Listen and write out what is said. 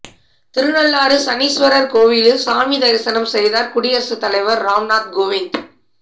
திருநள்ளாறு சனீஸ்வரர் கோவிலில் சாமி தரிசனம் செய்தார் குடியரசுத் தலைவர் ராம்நாத் கோவிந்த்